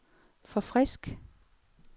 forfrisk